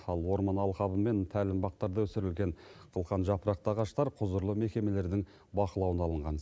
ал орман алқабы мен тәлімбақтарда өсірілген қылқан жапырақты ағаштар құзырлы мекемелердің бақылауына алынған